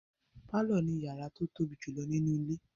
Pálọ̀ ni yàrá tí ó tóbi jùlọ nínú ilé.